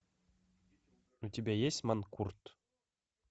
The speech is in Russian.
у тебя есть манкурт